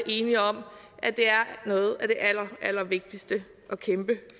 enige om at det er noget af det allerallervigtigste at kæmpe